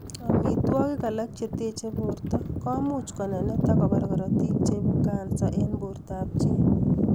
Amitwokik alak cheteche broto komuch konenet ak kobar korotik cheibu kansa en bporto ab chi